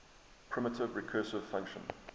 primitive recursive function